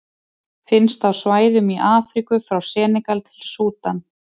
Finnst á svæðum í Afríku frá Senegal til Súdan.